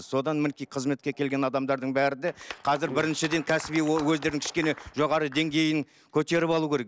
содан мінекей қызметке келген адамдардың бәрі де қазір біріншіден кәсіби өздерін кішкене жоғары деңгейін көтеріп алу керек